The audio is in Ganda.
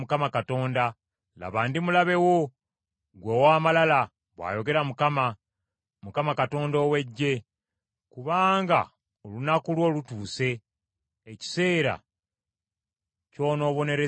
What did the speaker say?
“Laba, ndi mulabe wo, ggwe ow’amalala,” bw’ayogera Mukama, Mukama Katonda ow’Eggye, “Kubanga olunaku lwo lutuuse, ekiseera ky’on’obonerezebwamu.